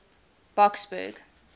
boksburg